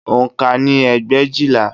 Oǹkà ni ẹgbẹ̀éjìlá